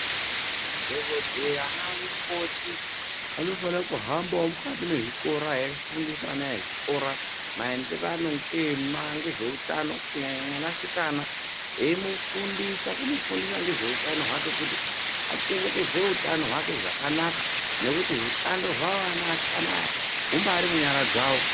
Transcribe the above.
Madhokodheya ana mukoti anofana kuhambawo mukati mezvikora eifundisa ana ezvikora maenderano ngezveutano kunyanya mwanasikana eimufundisa kumufundisa ngezveutano hwake kuti achengetedzeke utano hwake zvakanaka nekuti utano hwake zvakanaka nekuti utano hwavo ana easikana aya humbari munyara dzavo.